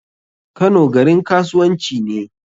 Kano garin kasuwanci ne.